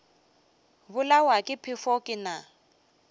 bolawa ke phefo ke na